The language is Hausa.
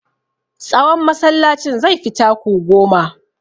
Tsawon masallacin zai fi taku goma.